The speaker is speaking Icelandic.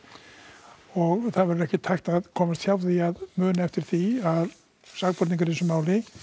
og það verður ekkert hægt að komast hjá því að muna eftir því að sakborningar í þessu máli